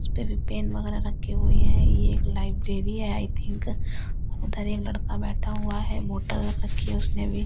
उसपे भी पेन वगैरह रखे हुए हैं ये लाइब्रेरी है आई थिंक उधर एक लड़का बैठा हुआ है बोतल रखी है उसने अभी --